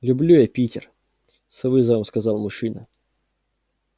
люблю я питер с вызовом сказал мужчина